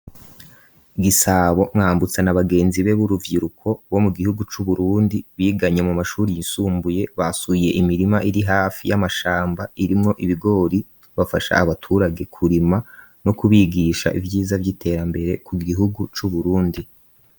Gisabo mwambutsa na bagenzi be b'uruvyiruko bo mu gihugu c'uburundi biganye mu mashuri yisumbuye basuye imirima iri hafi y'amashamba irimwo ibigori bafasha abaturage kurima no kubigisha ivyiza vy'iterambere ku gihugu c'uburundi.